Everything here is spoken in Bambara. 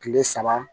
Kile saba